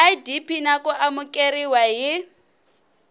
idp na ku amukeriwa hi